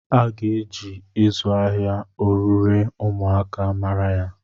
A ga-eji ịzụ ahịa orure ụmụaka mara ya.